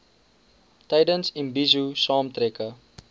tydens imbizo saamtrekke